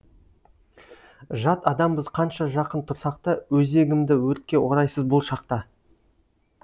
жат адамбыз қанша жақын тұрсақ та өзегімді өртке орайсыз бұл шақта